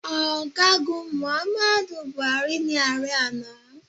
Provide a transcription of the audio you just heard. Ọ̀gágun Muhammadu Buhari ni ààrẹ àná